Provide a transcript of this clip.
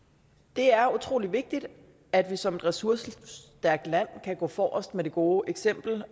det er utrolig vigtigt at vi som ressourcestærkt land kan gå forrest med det gode eksempel